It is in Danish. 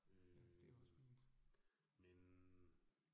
Øh. Men